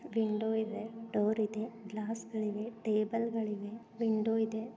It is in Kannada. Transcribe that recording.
ವಿಂಡೋ ಇದೆ ಡೋರ್ ಇದೆ ಗ್ಲಾಸ್ ಗಳಿವೆ ಟೇಬಲ್ಗಳಿವೆ ವಿಂಡೋ ಇದೆ.